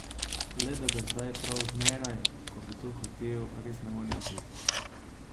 Le da ga zdaj prav zmeraj, ko bi to hotel, res ne morem vzeti.